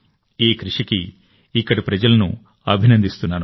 ఈ కృషికి ఇక్కడి ప్రజలను అభినందిస్తున్నాను